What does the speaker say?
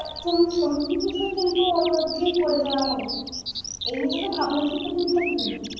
bathroom সব কিছু কিন্তু ওর মধ্যেই করে দেওয়া হবে। এই নিয়ে তোর ভাবনা চিন্তা করতে হবে না